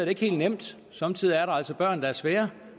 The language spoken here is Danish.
ikke helt nemt somme tider er der altså børn der er svære